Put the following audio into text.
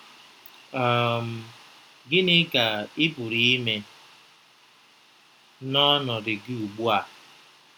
um Gịnị ka ị pụrụ ime n’ọnọdụ gị ugbu a?